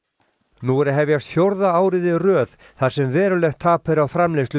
nú er að hefjast fjórða árið í röð þar sem verulegt tap er á framleiðslu